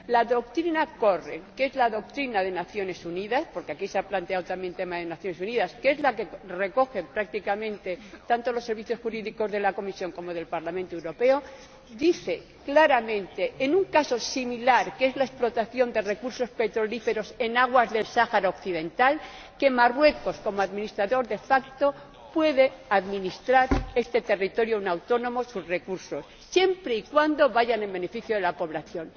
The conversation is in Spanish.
La doctrina Corell, que es la doctrina de las Naciones Unidas —porque aquí se ha planteado también el tema de las Naciones Unidas—, que es la que recogen prácticamente tanto los servicios jurídicos de la Comisión como del Parlamento Europeo, dice claramente, en un caso similar, que es la explotación de recursos petrolíferos en aguas del Sáhara Occidental, que Marruecos, como administrador de facto, puede administrar este territorio no autónomo y sus recursos siempre y cuando beneficie a la población.